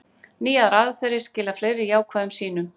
Nýjar aðferðir skila fleiri jákvæðum sýnum